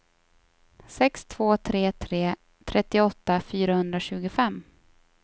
sex två tre tre trettioåtta fyrahundratjugofem